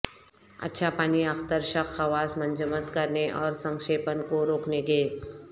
اچھا پانی اخترشک خواص منجمد کرنے اور سنکشیپن کو روکنے کے